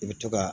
I bɛ to ka